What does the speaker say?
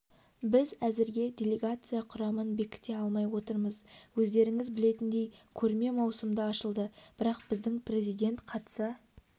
біз әзірге делегация құрамын бекіте алмай отырмыз өздеріңіз білетіндей көрме маусымда ашылады бірақ біздің президент қатыса